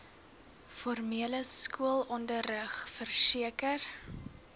formele skoolonderrig verseker